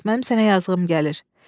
Mənim sənə yazığım gəlir.